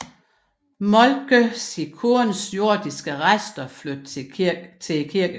Moltke sin kones jordiske rester flytte til kirkegården